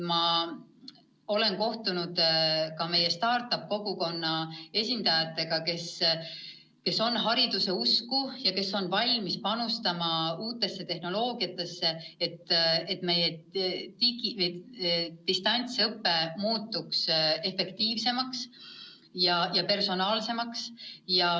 Ma olen kohtunud meie start-up-kogukonna esindajatega, kes on hariduse usku ja kes on valmis panustama uutesse tehnoloogiatesse, et meie digi- ehk distantsõpe muutuks efektiivsemaks ja personaalsemaks.